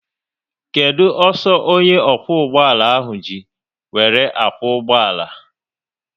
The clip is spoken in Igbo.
Kedụ ọsọ onye okwu ụgbọala ahụ ji wéré akwo ụgbọala?